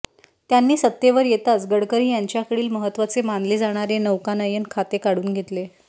त्यांनी सत्तेवर येताच गडकरी यांच्याकडील महत्त्वाचे मानले जाणारे नौकानयन खाते काढून घेतले